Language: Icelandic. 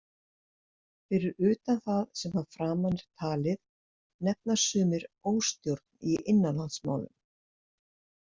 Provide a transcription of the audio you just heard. Fyrir utan það sem að framan er talið nefna sumir óstjórn í innanlandsmálum.